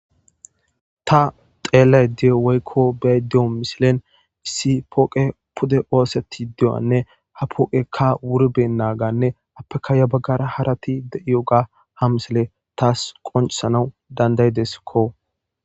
ta xeellay diyo weykko bey deyo misilen issi pooqe pude ooseti dewanne ha pooqekka wuriben naaganne appeka ya baggara harati de7iyo ga ha misile taas qoncisanau dandayideskko